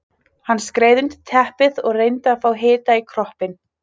Hann skreið undir teppið og reyndi að fá hita í kroppinn.